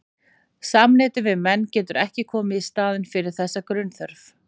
Samneyti við menn getur ekki komið í staðinn fyrir þessa grunnþörf.